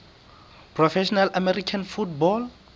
professional american football